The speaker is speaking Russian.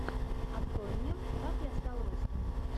открой мне как я стал русским